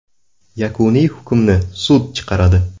Yakuniy hukmni sud chiqaradi.